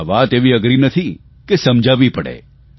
આ વાત એવી નથી કે સમજાવવી પડે